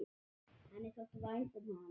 Henni þótti vænt um hana.